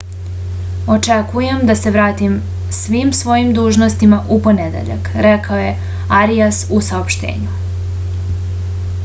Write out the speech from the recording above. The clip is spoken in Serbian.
očekujem da se vratim svim svojim dužnostima u ponedeljak rekao je arijas u saopštenju